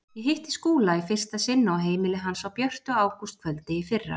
Ég hitti Skúla í fyrsta sinn á heimili hans á björtu ágústkvöldi í fyrra.